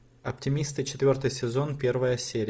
оптимисты четвертый сезон первая серия